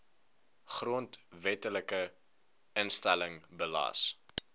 grondwetlike instelling belas